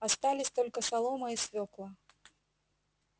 остались только солома и свёкла